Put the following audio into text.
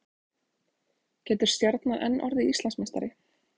Getur Stjarnan enn orðið Íslandsmeistari?